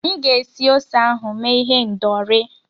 M ga-esi ose ahụ mee ihendọri.